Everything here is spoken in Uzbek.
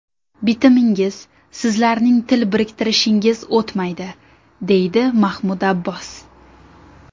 Bitimingiz, sizlarning til biriktirishingiz o‘tmaydi”, deydi Mahmud Abbos.